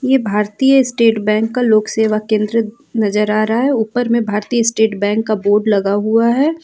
ये भारतीय State Bank का लोक सेवा केंद्र नजर आ रहा है ऊपर में भारतीय स्टेट बैंक का बोर्ड लगा हुआ है।